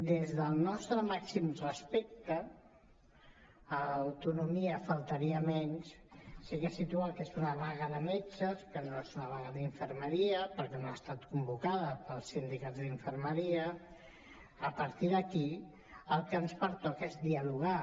des del nostre màxim respecte a l’autonomia faltaria més sí que ha situat que és una vaga de metges que no és una vaga d’infermeria perquè no ha estat convocada pels sindicats d’infermeria a partir d’aquí el que ens pertoca és dialogar